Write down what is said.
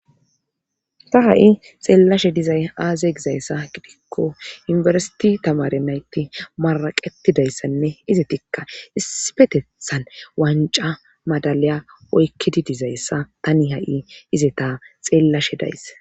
ta ha7i xeellashe dizay aaze gizayssa gidikko yunfersiti tamare naytti maraqetidayssanne ize tikka issipetethan wanca madaliya oykkidi dizayssa tani ha7i izeta xeellashe daysse